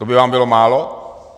To by vám bylo málo?